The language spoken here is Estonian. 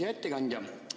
Hea ettekandja!